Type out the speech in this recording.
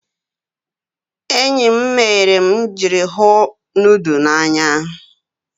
Enyi m mere m ijiri hu nudu n'anya.